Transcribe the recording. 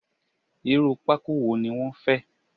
Irú pákó wo ni wọn fẹ́?